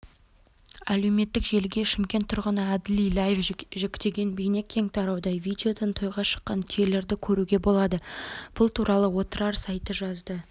әлеуметтік желіге шымкент тұрғыны әділ иляев жүктеген бейне кең тарауда видеодан тойға шыққан түйелерді көруге болады бұл туралы отырар сайты жазды